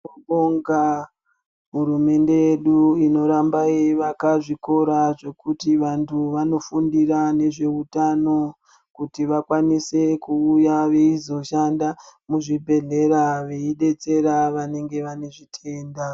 Tinobonga hurumende yedu inoramba yeivaka zvikora zvekuti vantu vanofundira ngezveutano kuti vakwanise kuuya veizoshanda muzvibhedhlera veidetsera vanenge vane zvitenda.